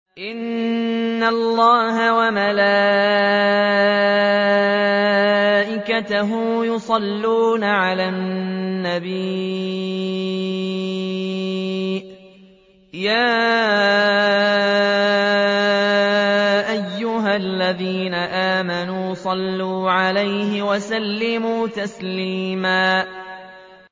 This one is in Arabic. إِنَّ اللَّهَ وَمَلَائِكَتَهُ يُصَلُّونَ عَلَى النَّبِيِّ ۚ يَا أَيُّهَا الَّذِينَ آمَنُوا صَلُّوا عَلَيْهِ وَسَلِّمُوا تَسْلِيمًا